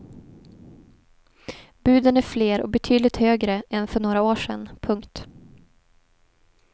Buden är fler och betydligt högre än för några år sedan. punkt